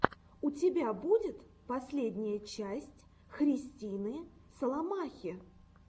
у тебя будет последняя часть христины соломахи